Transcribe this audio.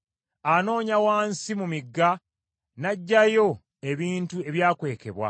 Anoonya wansi mu migga, n’aggyayo ebintu ebyakwekebwa.